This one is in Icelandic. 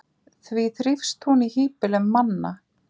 Því þrífst hún í hýbýlum manna?